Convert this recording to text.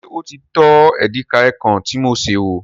Ṣé o tọ́ edikaikong tí mo sè wò?